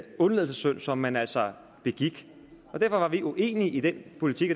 undladelsessynd som man altså begik derfor var vi uenige i den politik